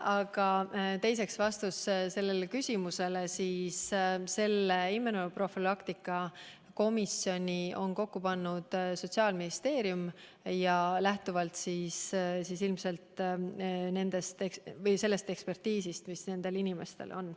Aga teiseks, vastus küsimusele: immunoprofülaktika komisjoni on kokku pannud Sotsiaalministeerium ja ilmselt lähtuvalt sellest ekspertiisi, mis nendel inimestel on.